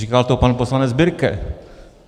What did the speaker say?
Říkal to pan poslanec Birke.